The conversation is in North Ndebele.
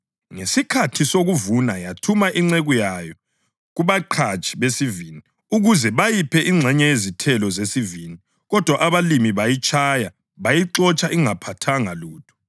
Ngesikhathi sokuvuna yathuma inceku yayo kubaqhatshi besivini ukuze bayiphe ingxenye yezithelo zesivini. Kodwa abalimi bayitshaya, bayixotsha ingaphathanga lutho.